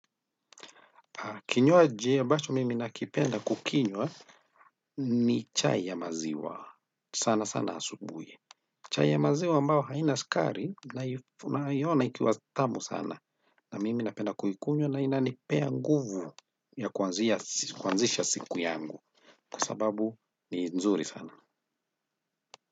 Kinywaji ambacho mimi nakipenda kukinywa ni chai ya maziwa sana sana asubuhi. Chai ya maziwa ambayo haina sukari naiona ikiwa tamu sana na mimi napenda kuikunywa na inanipea nguvu ya kuanzisha siku yangu kwa sababu ni nzuri sana.